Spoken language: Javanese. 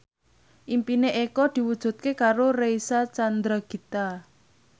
impine Eko diwujudke karo Reysa Chandragitta